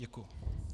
Děkuji.